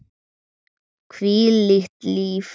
Hvílíkt líf!